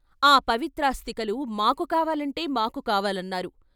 ఆ పవిత్రాస్థికలు మాకు కావాలంటే మాకు కావాలన్నారు.